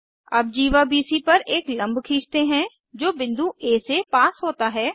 अब जीवा बीसी पर एक लम्ब खींचते हैं जो बिंदु आ से पास होता है